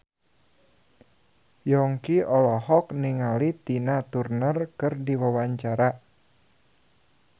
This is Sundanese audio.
Yongki olohok ningali Tina Turner keur diwawancara